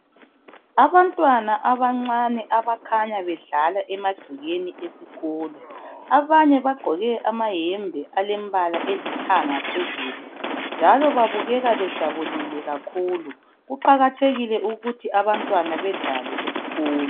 Abantwana abancane abakhanya bedlala emagcekeni esikolo. Abanye bagqoke amayembe alembala elithanga phezulu njalo babukeka bejabulile kakhulu. Kuqakathekile ukuthi abantwana badlale esikolo.